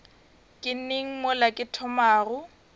ke neng mola ke thomago